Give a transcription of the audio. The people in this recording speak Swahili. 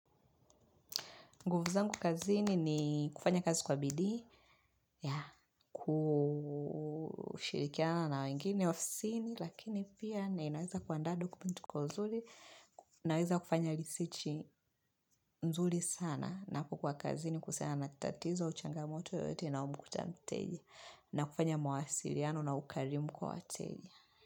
Nguvu zangu kazini ni kufanya kazi kwa bidii, kushirikiana wengine ofisini, lakini pia na inaweza kuanda dokumentu kwa nzuri, inaweza kufanya risichi nzuri sana na kukua kazini kusiana natatizo au changamoto yoyote na umu kutamteji na kufanya mawasiriano na ukarimu kwa wateji.